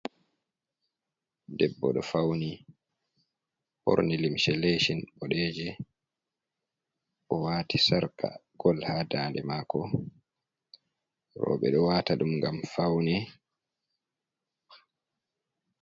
Debbo do fauni born luumse lecin bodeje, o wati sarka gol ha dande mako. roɓe ɗo wata ɗum ngam faune.